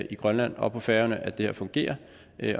i grønland og på færøerne at det her fungerer